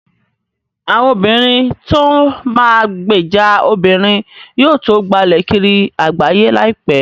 Àwọn obìrin tó n máa gbèjà obìnrin yóò tó gbalẹ̀ kiri àgbáyé láìpẹ́